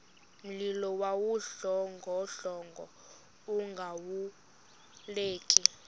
mlilo wawudlongodlongo ungalawuleki